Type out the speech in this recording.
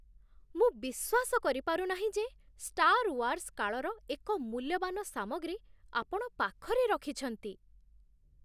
ମୁଁ ବିଶ୍ୱାସ କରିପାରୁ ନାହିଁ ଯେ 'ଷ୍ଟାର୍ ୱାର୍ସ୍' କାଳର ଏକ ମୂଲ୍ୟବାନ ସାମଗ୍ରୀ ଆପଣ ପାଖରେ ରଖିଛନ୍ତି।